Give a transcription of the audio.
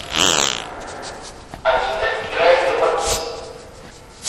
афина играй лемаркис